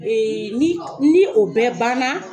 ni ni o bɛɛ banna